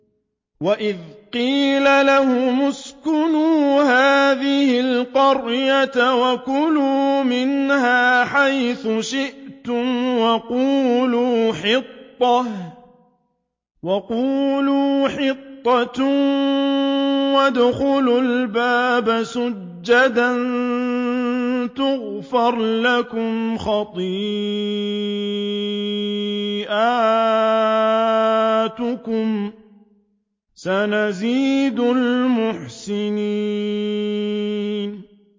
وَإِذْ قِيلَ لَهُمُ اسْكُنُوا هَٰذِهِ الْقَرْيَةَ وَكُلُوا مِنْهَا حَيْثُ شِئْتُمْ وَقُولُوا حِطَّةٌ وَادْخُلُوا الْبَابَ سُجَّدًا نَّغْفِرْ لَكُمْ خَطِيئَاتِكُمْ ۚ سَنَزِيدُ الْمُحْسِنِينَ